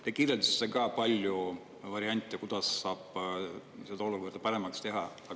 Te kirjeldasite paljusid variante, kuidas saab seda olukorda paremaks teha.